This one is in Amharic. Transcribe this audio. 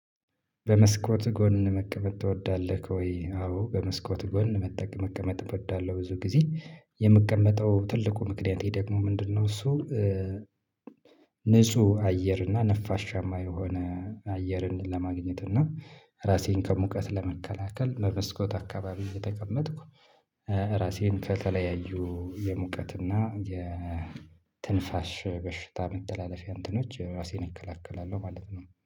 በመስኮት ጎን መቀመጥ ትወዳለህ? ወይ አዎ በመስኮት ጎን መጠቅ መቀመጥ እወዳለሁ ብዙ ጊዜ የምቀመጠው ትልቁ ምክንያቴ ደግሞ ምንድነው እሱ። ንጹህ አየር እና ነፋሻማ የሆነ አየርን ለማግኘት እና ራሴን ከሙቀት ለመከላከል በመስኮት አካባቢ እየተቀመጥኩ ራሴን ከተለያዩ የሙቀት እና የትንፋሽ በሽታ መተላለፊያ እንትኖች ራሴን እከላከላለሁ ማለት ነው